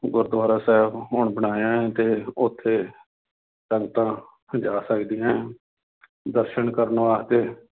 ਗੁਰੂਦੁਆਰਾ ਸਾਹਿਬ ਹੁਣ ਬਣਾਇਆ ਹੈ ਤੇ ਉੱਥੇ ਸੰਗਤਾਂ ਜਾ ਸਕਦੀਆਂ ਹੈ ਦਰਸਨ ਕਰਨ ਵਾਸਤੇ